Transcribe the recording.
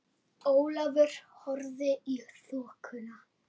Ólafur horfði í þokuna.